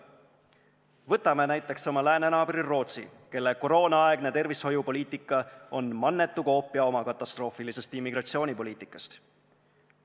Võtame näiteks oma läänenaabri Rootsi, kelle koroonaaegne tervishoiupoliitika on mannetu koopia tema katastroofilisest immigratsioonipoliitikast.